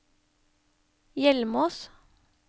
Hjelmås